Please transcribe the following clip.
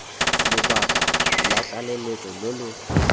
lobaka lwa tlaleletso lo lo